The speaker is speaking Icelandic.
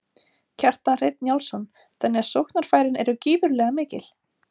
Kjartan Hreinn Njálsson: Þannig að sóknarfærin eru gífurlega mikil?